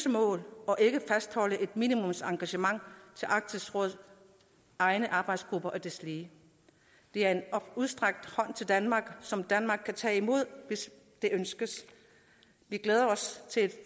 mål og ikke fastholde et minimumsengagement til arktisk råds egne arbejdsgrupper og deslige det er en udstrakt hånd til danmark som danmark kan tage imod hvis det ønskes vi glæder os til en